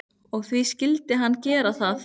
Og því skyldi hann gera það.